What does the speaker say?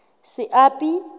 seapi